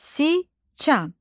Siçan.